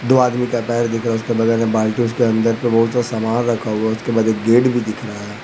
दो आदमी का पैर दिख रहा है उसके बगल में बाल्टी उसके अंदर बहुत सारा सामान रखा हुआ है उसके बाद एक गेट भी दिख रहा है।